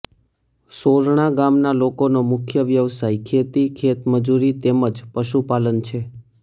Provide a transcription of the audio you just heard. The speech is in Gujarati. સોરણા ગામના લોકોનો મુખ્ય વ્યવસાય ખેતી ખેતમજૂરી તેમ જ પશુપાલન છે